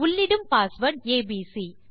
உள்ளிடும் password ABC